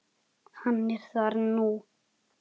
Hann er þar nú.